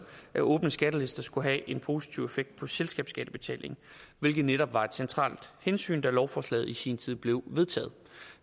at åbne skattelister skulle have en positiv effekt på selskabsskattebetalingen hvilket netop var et centralt hensyn da lovforslaget i sin tid blev vedtaget